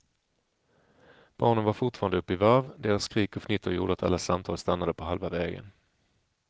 Barnen var fortfarande uppe i varv, deras skrik och fnitter gjorde att alla samtal stannade på halva vägen.